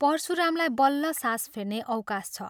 परशुरामलाई बल्ल सास फेर्ने अवकाश छ।